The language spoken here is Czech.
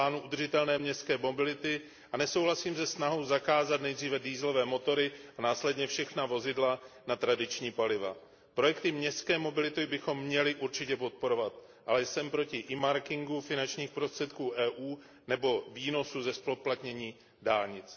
u plánů udržitelné městské mobility a nesouhlasím se snahou zakázat nejdříve dieselové motory a následně všechna vozidla na tradiční paliva. Projekty městské mobility bychom měli určitě podporovat, ale jsem proti earmarkingu finančních prostředků EU nebo výnosů ze zpoplatnění dálnic.